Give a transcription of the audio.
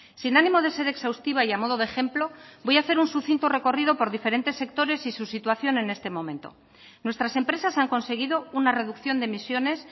sin ánimo de ser exhaustiva y a modo de ejemplo voy a hacer un sucinto recorrido por diferentes sectores y su situación en este momento nuestras empresas han conseguido una reducción de emisiones